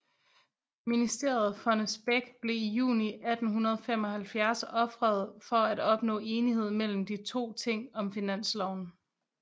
Ministeriet Fonnesbech blev i juni 1875 ofret for at opnå enighed mellem de 2 ting om finansloven